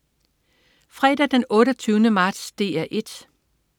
Fredag den 28. marts - DR 1: